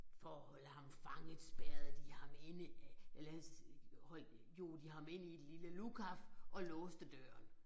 For at holde ham fanget spærrede de ham inde øh eller øh hold jog de ham ind i et lille lukaf og låste døren